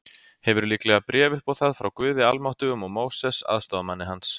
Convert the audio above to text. Hefur líklega bréf upp á það frá Guði Almáttugum og Móses, aðstoðarmanni hans.